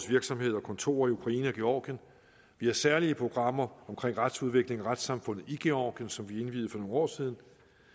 virksomhed og kontorer i ukraine og georgien vi har særlige programmer om retsudviklingen og retssamfundet i georgien som vi indviede for nogle år siden